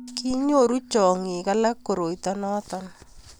kinyoru chong'ik alak koroito noto